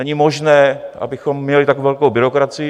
Není možné, abychom měli tak velkou byrokracii.